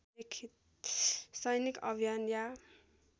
सैनिक अभियान या